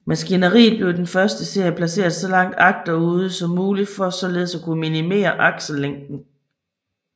Maskineriet blev i den første serie placeret så langt agterude som muligt for således at kunne minimere aksellængden